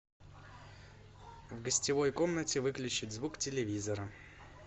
в гостевой комнате выключить звук телевизора